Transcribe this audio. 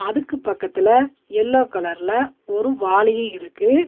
அதுக்கு பக்கத்துல எல்லோ கலர்ல ஒரு வாளியு இருக்கு.